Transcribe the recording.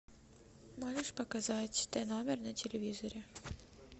можешь показать т номер на телевизоре